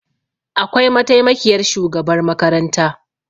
Akwai mataimakiyar shugabar makaranta